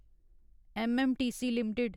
MMTC limited